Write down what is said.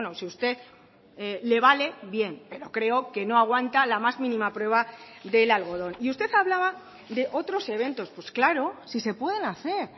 si usted le vale bien pero creo que no aguanta la más mínima prueba del algodón y usted hablaba de otros eventos pues claro si se pueden hacer